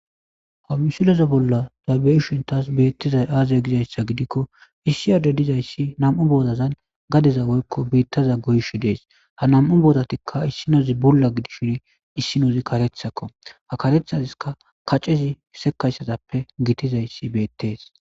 Ha misileze bolla doabe7i shintas beettizay aazaya gizayssa gidikko issi aade dizayssi nam7u boodazan gadeza woykko biittaza goyshi dees ha nam7u boodatikka issinozi bulla gidishin issinozi karethakko ha karethaziska kaccezi sekayssazappe gitizayssi beettees.